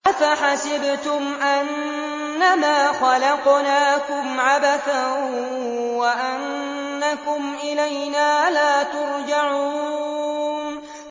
أَفَحَسِبْتُمْ أَنَّمَا خَلَقْنَاكُمْ عَبَثًا وَأَنَّكُمْ إِلَيْنَا لَا تُرْجَعُونَ